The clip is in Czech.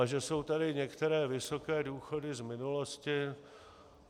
A že jsou tady některé vysoké důchody z minulosti?